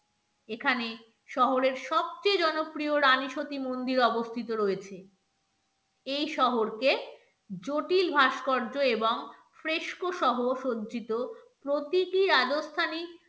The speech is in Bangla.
এখানে শহরের সবচেয়ে জনপ্রিয় রানী সতী মন্দির অবস্থিত রয়েছে এই শহরকে জটিল ভাস্কর্য এবং ফ্রেশকো সহ সজ্জিত. প্রতিটি রাজস্থানী